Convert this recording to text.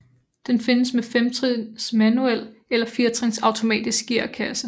Den findes med femtrins manuel eller firetrins automatisk gearkasse